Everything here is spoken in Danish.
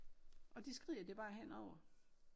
Og det skrider det bare henover